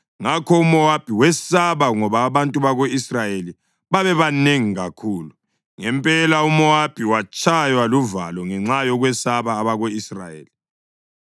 ngakho uMowabi wesaba ngoba abantu bako-Israyeli babebanengi kakhulu. Ngempela uMowabi watshaywa luvalo ngenxa yokwesaba abako-Israyeli.